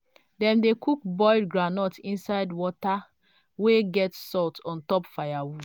dem dey cook boiled groundnut inside water wey get salt on top firewood.